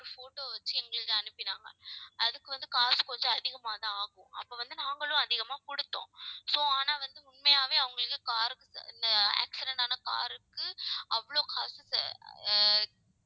ஒரு photo வச்சு எங்களுக்கு அனுப்பினாங்க அதுக்கு வந்து காசு கொஞ்சம் அதிகமாதான் ஆகும். அப்ப வந்து நாங்களும் அதிகமா கொடுத்தோம். so ஆனா வந்து உண்மையாவே அவங்களுக்கு car க்கு இந்த accident ஆன car ருக்கு அவ்வளவு காசு தே~ ஆஹ்